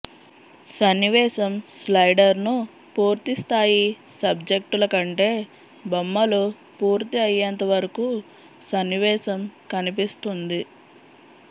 సన్నివేశం స్లైడర్ ను పూర్తిస్థాయి సబ్జెక్టుల కంటే బొమ్మలు పూర్తి అయ్యేంతవరకు సన్నివేశం కనిపిస్తుంది